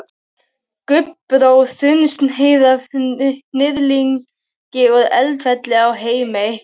Gabbró, þunnsneið af hnyðlingi úr Eldfelli á Heimaey.